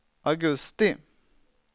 augusti